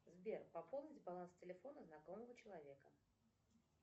сбер пополнить баланс телефона знакомого человека